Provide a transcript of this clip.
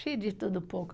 Fiz de tudo um pouco.